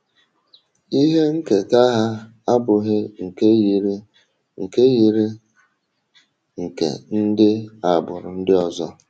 Ihe nketa ha abụghị nke yiri nke yiri nke ndị agbụrụ ndị ọzọ.